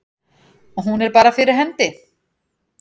Hún er bara fyrir hendi.